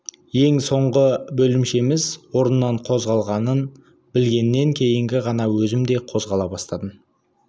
ең соңғы бөлімшеміз орнынан қозғалғанын білгеннен кейін ғана өзім де қозғала бастадым